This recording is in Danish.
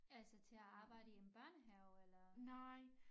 Altså til at arbejde i en børnehave eller